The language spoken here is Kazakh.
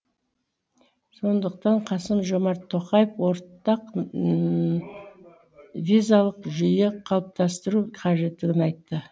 сондықтан қасым жомарт тоқаев ортақ визалық жүйе қалыптастыру қажеттілігін айтты